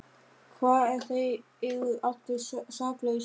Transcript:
Hvað ef þeir eru allir saklausir?